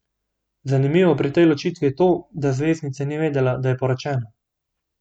Zanimivo pri tej ločitvi je to, da zvezdnica ni vedela, da je poročena.